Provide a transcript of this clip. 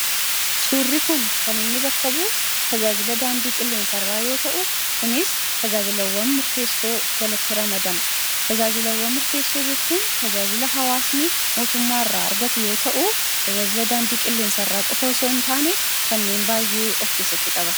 Suurri kun kan inni bakka bu'u tajaajila daandii qilleensa irraa yoota'u kunis tajaajilaawwan murteessoo jalatti ramadama. tajaajilaawwan murteessoo jechuun tajaajila hawaasni mootummaa irraa argatu yoota'u tajaajila daandii qilleensaa irraa qofa otoo hintaane kanneen baay'ee of keessatti qaba.